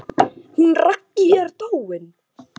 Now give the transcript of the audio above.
Hún Raggý er dáin.